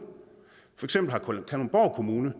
kalundborg kommune